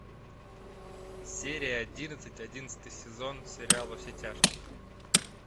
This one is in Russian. серия одиннадцать одиннадцатый сезон сериал во все тяжкие